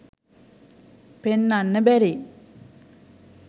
පෙන්නන්න බැරි.